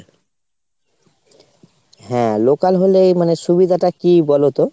হ্যাঁ local হলেই সুবিধাটা কি বলোতো ?